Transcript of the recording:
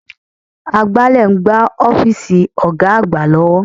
Agbálẹ̀ ń gbá ọ́fíìsì Ọ̀ga àgbà lọ́wọ́